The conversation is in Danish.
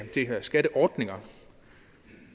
skatteordninger